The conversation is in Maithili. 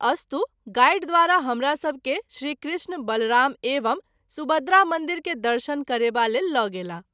अस्तु गाइड द्वारा हमरासभ के श्री कृष्ण - बलराम एवं सुभद्रा मंदिर के दर्शन करेबा लेल ल’ गेलाह।